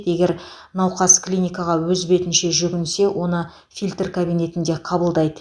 егер науқас клиникаға өз бетінше жүгінсе оны фильтр кабинетінде қабылдайды